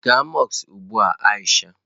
Gaa mọsk ugbu a Aisha!